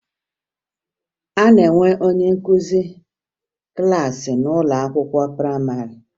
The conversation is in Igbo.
A na-enwe onye nkụzi klassị n'ụlọ akwụkwọ prayịmarị